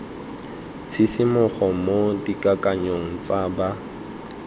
tshisimogo mo dikakanyong tsa ba